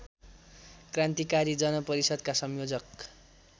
क्रान्तिकारी जनपरिषद्का संयोजक